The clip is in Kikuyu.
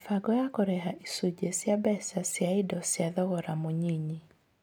Mĩbango ya kũrĩha Icunjĩ cia mbeca cia indo cia thogora mũnyinyi